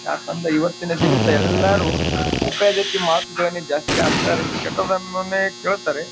ಯಾಕೆಂದ ಇವತಿನ ದಿವಸಾ ಎಲ್ಲರೂ ಉಪಯೋಗಕ್ಕೆ ಮಾತ್ರನೇ ಜಾಸ್ತಿ ಹಾಕ್ತಾರೆ ಕೆಟ್ಟದ್ದನ್ನೇ ಕೇಳ್ತಾರೆ.